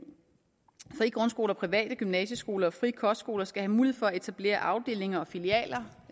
frie grundskoler private gymnasieskoler og frie kostskoler skal have mulighed for at etablere afdelinger og filialer